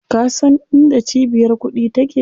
Ka san inda cibiyar kuɗi take?